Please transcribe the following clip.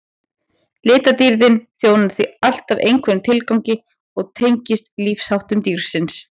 litadýrðin þjónar því alltaf einhverjum tilgangi og tengist lífsháttum dýrsins